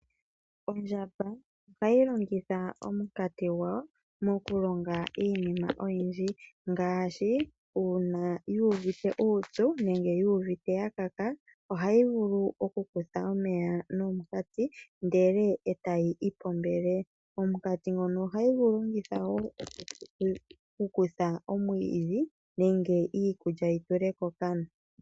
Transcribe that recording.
Ondjamba ohayi longithwa omukati gawo mokulonga iinima oyindji ngaashi, uuna yu uvite uupyu nenge yiwete yakaka ohayi vulu okukutha omeya nomukati ndele etayi ipombele. Omukati ngono ohayi gulongitha woo okukutha omwiidhi nenge iikulya yitule kokana.